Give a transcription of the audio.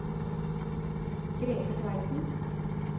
Grete Tveiten